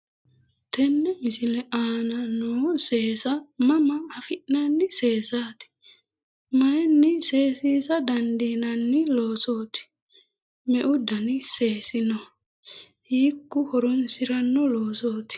tenne misile aana nooha seesa mama affinanni seesaati mayiinni seesiisa dandiinanni loosooti meu dani seesi no? hiikku horonsiranno loosooti?